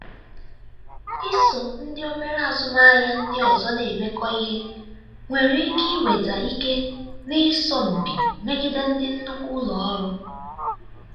iso ndị obere azụmaahịa ndị ọzọ na-emekọ ihe nwere ike iweta ike n'ịsọ mpi megide ndị nnukwu ụlọ ọrụ.